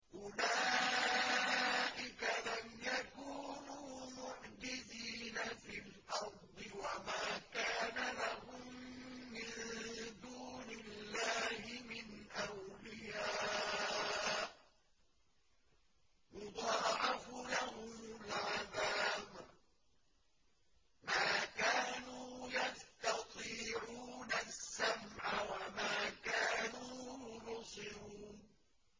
أُولَٰئِكَ لَمْ يَكُونُوا مُعْجِزِينَ فِي الْأَرْضِ وَمَا كَانَ لَهُم مِّن دُونِ اللَّهِ مِنْ أَوْلِيَاءَ ۘ يُضَاعَفُ لَهُمُ الْعَذَابُ ۚ مَا كَانُوا يَسْتَطِيعُونَ السَّمْعَ وَمَا كَانُوا يُبْصِرُونَ